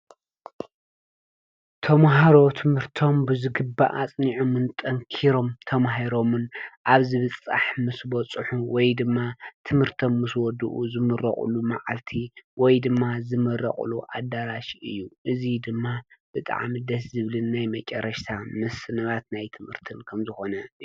ተምሃሮ ትምርቶም ብዝግባእን ኣጽኒዖምን ጠንኪሮም ተማሂሮምን ኣብ ዝብፃሕ ምስ በፅሑ ወይ ድማ ትምርቶም ምስ ወድኡ ዝምረቅሉ መዓልቲ ወይ ድማ ዝምረቅሉ ኣዳራሽ እዩ። እዚ ድማ ብጣዕሚ ደስ ዝብልን ናይ መጨረሻ ምስንባት ናይ ትምህርትን ከምዝኮነ።